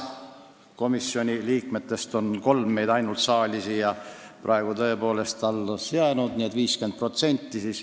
Komisjoni liikmetest on tõepoolest ainult kolm meist praegu siia saali alles jäänud, nii et 50%.